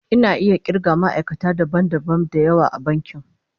Ina iya kirga ma'aikata dabam dabam da yawa a bankin